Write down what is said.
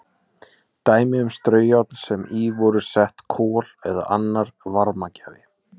Dæmi um straujárn sem í voru sett kol eða annar varmagjafi.